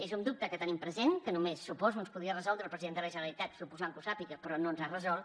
és un dubte que tenim present que només suposo ens podria resoldre el president de la generalitat suposant que ho sàpiga però no ens l’ha resolt